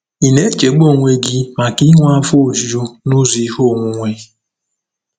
Ị na-echegbu onwe gị maka inwe afọ ojuju n'ụzọ ihe onwunwe?